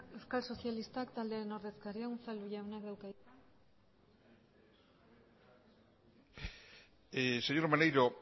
euskal sozialistak taldearen ordezkaria unzalu jaunak dauka hitza señor maneiro